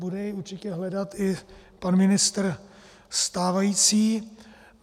Bude jej určitě hledat i pan ministr stávající.